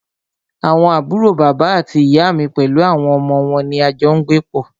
Àwọn àbúrò bàbá àti ìyá mí pẹlú àwọn ọmọ wọn ní a jọ n gbé pọ́.